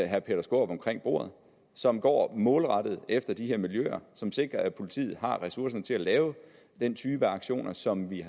herre peter skaarup omkring bordet som går målrettet efter de her miljøer som sikrer at politiet har ressourcerne til at lave den type aktioner som vi